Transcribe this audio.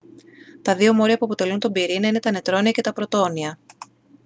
τα δύο μόρια που αποτελούν τον πυρήνα είναι τα νετρόνια και τα πρωτόνια